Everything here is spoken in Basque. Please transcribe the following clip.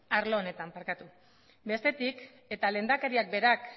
arlo honetan bestetik eta lehendakariak berak